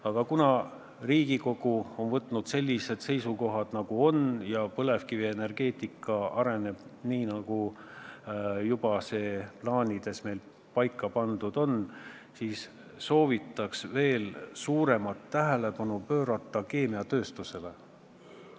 Aga kuna Riigikogu on võtnud sellised seisukohad, nagu ta on võtnud, ja põlevkivienergeetika areneb nii, nagu see meil plaanides paika pandud on, siis soovitan veel suuremat tähelepanu pöörata keemiatööstusele.